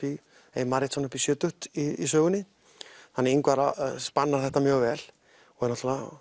ef ég man rétt upp í sjötugt í sögunni hann Ingvar spannar þetta mjög vel hann er